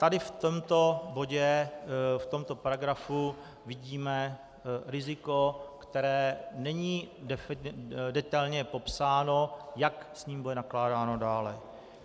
Tady v tomto bodě, v tomto paragrafu, vidíme riziko, které není detailně popsáno, jak s ním bude nakládáno dále.